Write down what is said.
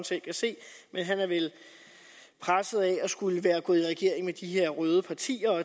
selv kan se men man er vel presset af at være gået i regering med de her røde partier og